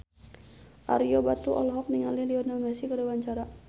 Ario Batu olohok ningali Lionel Messi keur diwawancara